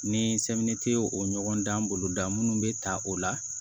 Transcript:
Ni ye o ɲɔgɔndan boloda munnu be ta o la